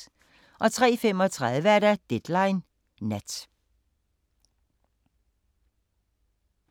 03:35: Deadline Nat